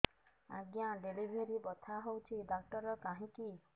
ଆଜ୍ଞା ଡେଲିଭରି ବଥା ହଉଚି ଡାକ୍ତର କାହିଁ କି